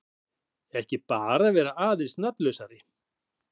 Eða bara vera aðeins nafnlausari.